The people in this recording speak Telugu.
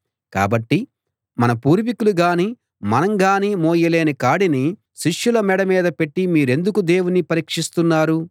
కాబట్టి మన పూర్వీకులు గానీ మనం గానీ మోయలేని కాడిని శిష్యుల మెడ మీద పెట్టి మీరెందుకు దేవుణ్ణి పరీక్షిస్తున్నారు